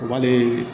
O b'ale